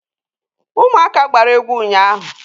Ụmụaka gbara egwu ụnyaahụ.